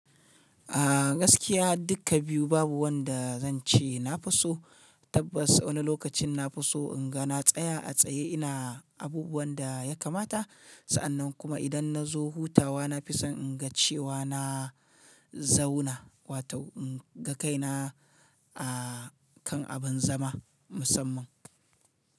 A gaskiya dukka biyu babu wanda zan ce nafi so. Tabbas wani lokacin na fi so inga na tsaya a tsaye ina abubuwan da ya kamata. Sa'annan kuma idan nazo hutawa nafi son in ga cewa na zauna wato inga kaina a kan abin zama musamman.